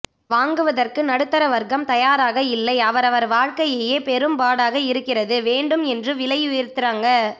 வாங்குவதற்கு நடுத்தர வர்கம் தயாராக இல்லை அவரவர் வாழ்க்கையே பெரும் பாடாக இருக்கிறது வேண்டும் என்று விலை உயர்தராங்க